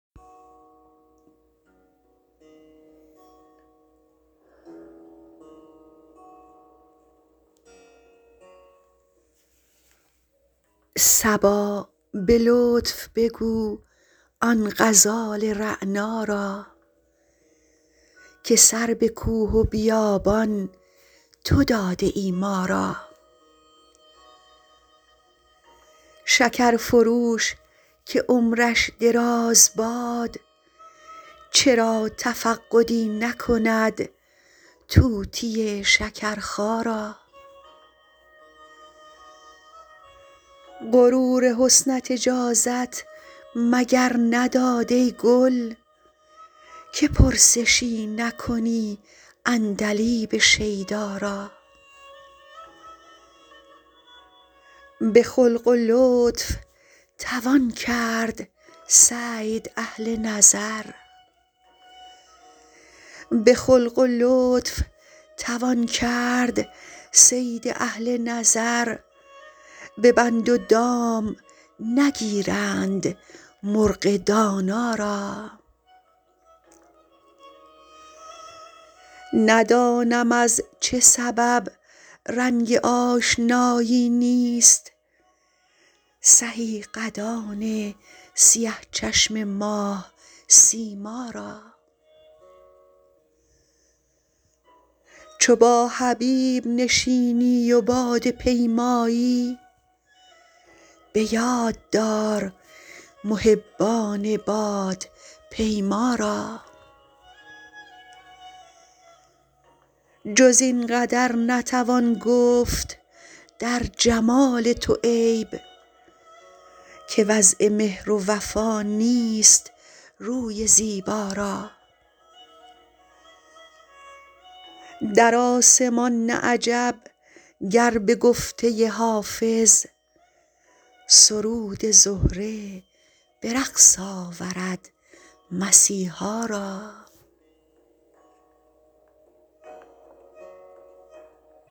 صبا به لطف بگو آن غزال رعنا را که سر به کوه و بیابان تو داده ای ما را شکر فروش که عمرش دراز باد چرا تفقدی نکند طوطی شکرخا را غرور حسنت اجازت مگر نداد ای گل که پرسشی نکنی عندلیب شیدا را به خلق و لطف توان کرد صید اهل نظر به بند و دام نگیرند مرغ دانا را ندانم از چه سبب رنگ آشنایی نیست سهی قدان سیه چشم ماه سیما را چو با حبیب نشینی و باده پیمایی به یاد دار محبان بادپیما را جز این قدر نتوان گفت در جمال تو عیب که وضع مهر و وفا نیست روی زیبا را در آسمان نه عجب گر به گفته حافظ سرود زهره به رقص آورد مسیحا را